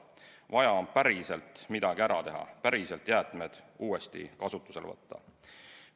Vaja on päriselt midagi ära teha, päriselt jäätmed uuesti kasutusele võtta.